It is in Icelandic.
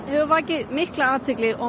hefur vakið mikla athygli og